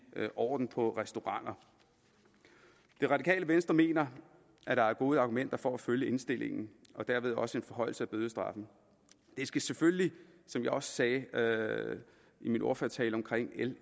orden på restauranter det radikale venstre mener at der er gode argumenter for at følge indstillingen og derved også for en forhøjelse af bødestraffen det skal selvfølgelig som jeg også sagde i min ordførertale omkring l